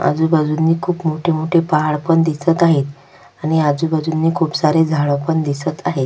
आजूबाजूंनी खुप मोठे मोठे पहाड पण दिसत आहेत आणि आजूबाजूनी खुप सारे झाड पण दिसत आहेत.